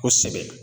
Kosɛbɛ